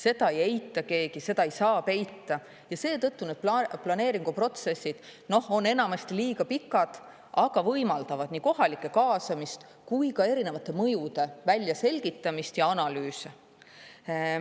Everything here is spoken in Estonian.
Seda ei eita keegi, seda ei saa peita ja seetõttu need planeeringuprotsessid on enamasti liiga pikad, aga võimaldavad nii kohalike kaasamist kui ka erinevate mõjude väljaselgitamist ja analüüse.